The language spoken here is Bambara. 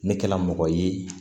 Ne kɛla mɔgɔ ye